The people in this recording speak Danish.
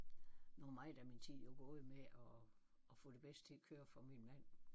Nu er meget af min tid jo gået med at at få det bedste til at køre for min mand